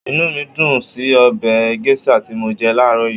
Inú mí dùn ún sí ọbẹ̀ gẹ́ṣà tí mọ jẹ láàrọ́ yìí